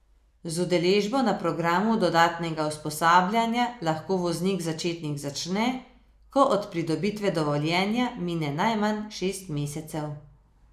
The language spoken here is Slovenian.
Z udeležbo na programu dodatnega usposabljanja lahko voznik začetnik začne, ko od pridobitve dovoljenja mine najmanj šest mesecev.